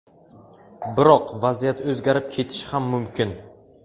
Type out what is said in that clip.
Biroq vaziyat o‘zgarib ketishi ham mumkin.